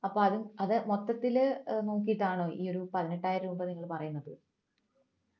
അപ്പോ അത് അത് മൊത്തത്തിൽ നോക്കിയിട്ടാണോ ഈ ഒരു പതിനെട്ടായിരം രൂപ നിങ്ങൾ പറയുന്നത്